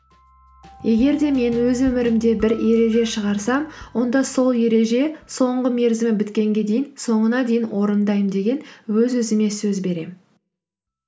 егер де мен өз өмірімде бір ереже шығарсам онда сол ереже соңғы мерзімі біткенге дейін соңына дейін орындаймын деген өз өзіме сөз беремін